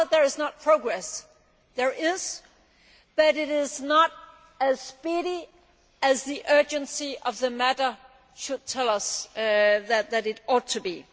It is not that there is no progress. There is, but it is not as speedy as the urgency of the matter should tell us that it ought to be.